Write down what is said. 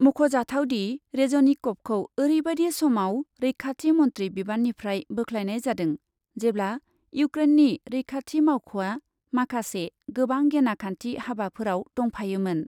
मख'जाथावदि, रेजनिकभखौ ओरैबायदि समाव रैखाथि मन्थ्रि बिबाननिफ्राय बोख्लायनाय जादों, जेब्ला इउक्रेननि रैखाथि मावख'आ माखासे गोबां गेनाखान्थि हाबाफोराव दंफायोमोन।